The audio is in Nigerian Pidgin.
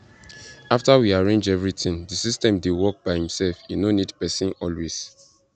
afta we arrange everything di system dey work by imself e no need person always